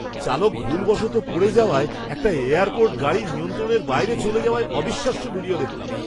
চালক ভুলবশত পড়ে যাওযায় একটা এয়ারপোর্ট গাড়ি নিয়ন্ত্রণের বাইরে চলে যাওয়ার অবিশ্বাস্য ভিডিও দেখলাম!